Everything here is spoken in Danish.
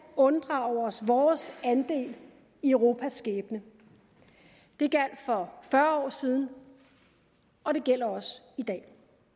unddrage os vores andel i europas skæbne det gjaldt for fyrre år siden og det gælder også i dag